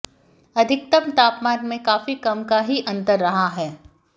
अधिकतम तापमान में भी काफी कम का ही अंतर रहा है